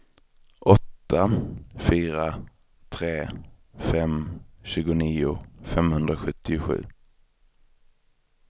åtta fyra tre fem tjugonio femhundrasjuttiosju